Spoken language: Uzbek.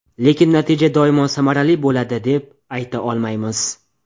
Lekin natija doimo samarali bo‘ladi, deb ayta olmaymiz.